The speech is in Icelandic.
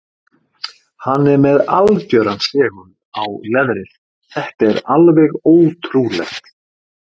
Hann er með algjöran segul á leðrið, þetta er alveg ótrúlegt.